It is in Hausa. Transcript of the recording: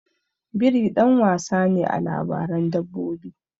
Biri ɗan wasa ne a labaran dabbobi.